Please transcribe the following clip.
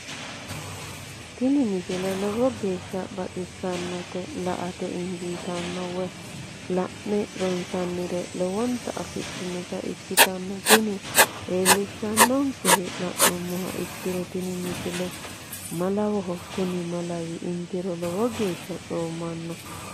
tini misile lowo geeshsha baxissannote la"ate injiitanno woy la'ne ronsannire lowote afidhinota ikkitanna tini leellishshannonkeri la'nummoha ikkiro tini misile malawoho kuni malawi intiro lowo geeshsha coommanno.